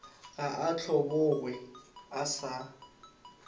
ga a hlobogwe a sa